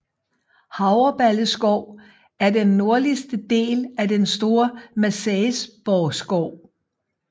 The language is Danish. Havreballe Skov er den nordligste del af den store Marselisborgskov